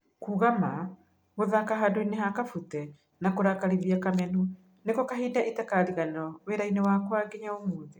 Kuuga ma, gũthaka handũinĩ ha Kabute na kurakarithia Kamenũ niko kahinda itakariganĩruo wĩrainĩ wakwa nginya ũmũthĩ